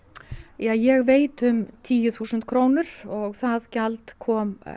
ja ég veit um tíu þúsund krónur og það gjald kom